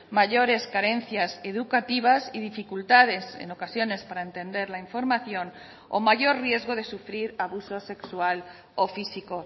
mayores carencias educativas y dificultades en ocasiones para entender la información o mayor riesgo de sufrir abusos sexual o físico